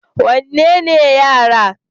wanne ne na yara?